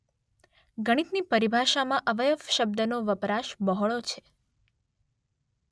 ગણિતની પરિભાષામાં અવયવ શબ્દનો વપરાશ બહોળો છે.